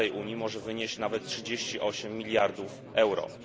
starej Unii może wynieść nawet 38 miliardów euro.